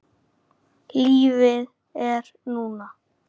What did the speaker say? Lífið er núna!